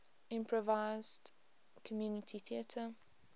improvised community theatre